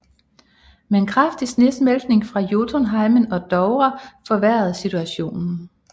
Men kraftig snesmeltning fra Jotunheimen og Dovre forværrede situationen